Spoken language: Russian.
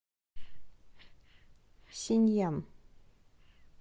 синьян